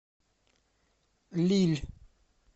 лилль